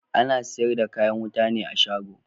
Ana siyar da kayan wuta ne a shago